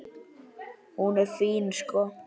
Hún er fín, sko.